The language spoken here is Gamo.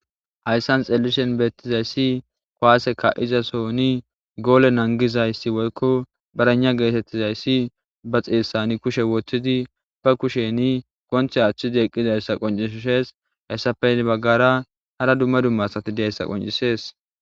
Hayssan xeellishin beettizayssi kuwaase kaa7iza sohoni goole nanggizayssi woykko braynna geetettizayssi ba xeessani kushe wothidi ba kusheni gonthe aathidi eqqizayssa qonccishishees. Hessappe hini baggaara hara dumma dumma asati diyayssa qoncisisees.